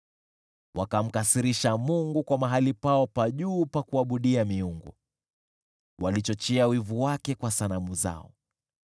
Wakamkasirisha Mungu kwa mahali pao pa juu pa kuabudia miungu, wakachochea wivu wake kwa sanamu zao.